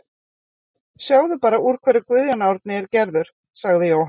Sjáðu bara úr hverju Guðjón Árni er gerður, sagði Jóhann.